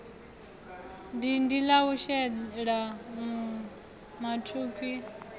dindi la u shelwa mathukhwi